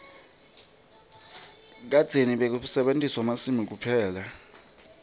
kadzeni bekusetjentwa emasimini kuphela